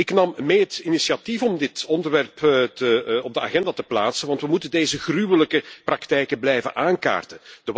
Ik nam mee het initiatief om dit onderwerp op de agenda te plaatsen, want we moeten deze gruwelijke praktijken blijven aankaarten.